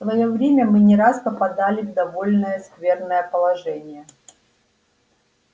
в своё время мы не раз попадали в довольно скверное положение